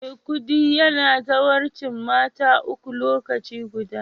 Maikudi yana zawarcin mata uku lokaci guda